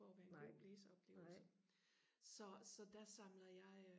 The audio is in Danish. for og være en god læseoplevelse så så der samler jeg